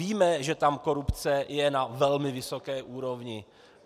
Víme, že tam korupce je na velmi vysoké úrovni.